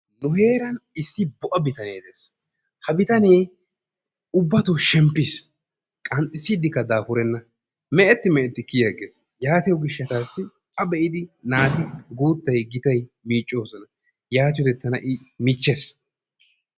Nu heeran issi po"a bitanee de'ees, ha bitane ubbatto shemppiis, qanxissdikka dafurenna meeti meeti kiyiagees yaatiyo gishshatassi a be'idi naati guuttay gitay miiccoosona. Yaatiyode tana I miichchees.